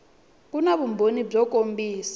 ku na vumbhoni byo kombisa